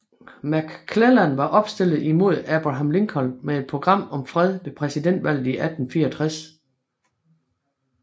McClellan var opstillet imod Abraham Lincoln med et program om fred ved præsidentvalget i 1864